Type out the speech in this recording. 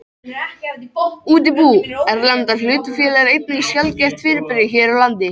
Útibú erlendra hlutafélaga eru einnig sjaldgæft fyrirbrigði hér á landi.